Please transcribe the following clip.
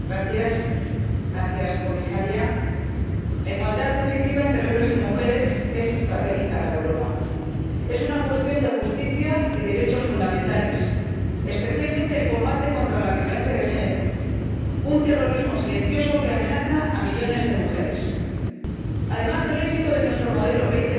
Señor Presidente gracias, señora Comisaria la igualdad efectiva entre hombres y mujeres es estratégica para Europa es una cuestión de justicia y derechos fundamentales, especialmente, el combate contra la violencia de género, un terrorismo silencioso que amenaza a millones de mujeres. Además, el éxito de nuestro modelo 2020